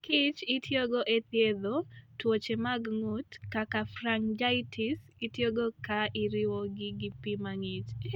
Mor kich itiyogo e thiedho tuoche mag ng'ut, kaka pharyngitis, itiyogo ka iriwogi gi pi mang'ich